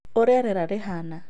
Ũrĩa rĩera rĩhaana: